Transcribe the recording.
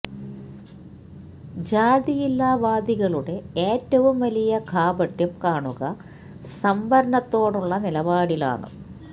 ജാതിയില്ലാ വാദികളുടെ ഏറ്റവും വലിയ കാപട്യം കാണുക സംവരണത്തോടുള്ള നിലപാടിലാണ്